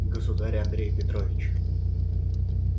государь андрей петрович